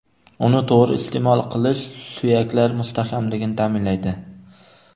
Uni to‘g‘ri iste’mol qilish suyaklar mustahkamligini ta’minlaydi.